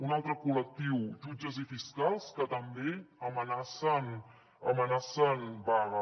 un altre col·lectiu jutges i fiscals que també amenacen vaga